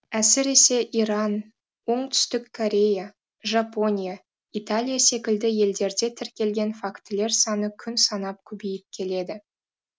әсіресе иран оңтүстік корея жапония италия секілді елдерде тіркелген фактілер саны күн санап көбейіп келеді